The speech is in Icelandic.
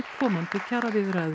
komandi kjaraviðræður